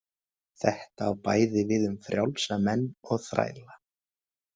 Þetta á bæði við um frjálsa menn og þræla.